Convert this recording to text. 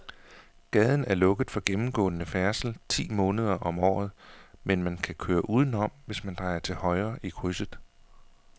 Gaden er lukket for gennemgående færdsel ti måneder om året, men man kan køre udenom, hvis man drejer til højre i krydset.